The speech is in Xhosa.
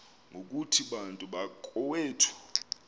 ngokuthi bantu bakowethu